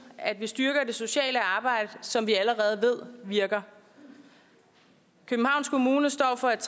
at man styrker det sociale arbejde som vi allerede ved virker københavns kommune står for et